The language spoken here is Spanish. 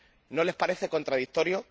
¿No les parece contradictorio?